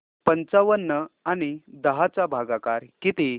पंचावन्न आणि दहा चा भागाकार किती